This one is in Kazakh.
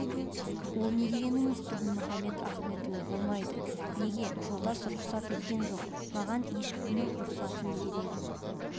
ол не дегеніңіз дінмұхамед ахметұлы болмайды неге жолдас рұхсат еткен жоқ маған ешкімнің рұхсатының керегі